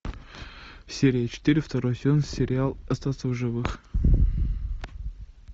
серия четыре второй сезон сериал остаться в живых